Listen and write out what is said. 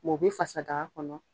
mɛ o be fasa daga kɔnɔ